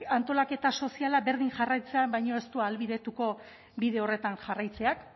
antolaketa soziala berdin jarraitzea baino ez du ahalbidetuko bide horretan jarraitzeak